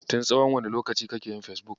Tin tsawon wane lokaci kake yin Fesbuk.